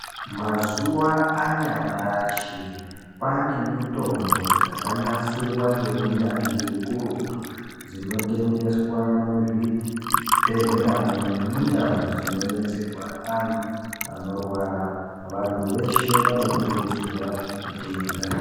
Mazuva anyamashi kwane mitombo dzakanasirwa ngeunyanzvi ukurutu dzinotengeswa muzvibhedhleramo nemundau dzinobetserwa vantu vanorwara vantu veshe vanokurudzirwa kutenga .